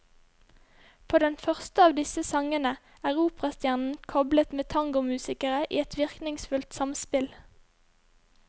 På den første av disse sangene er operastjernen koblet med tangomusikere i et virkningsfullt samspill.